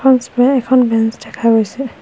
পিছফালে এখন বেঞ্চ দেখা গৈছে।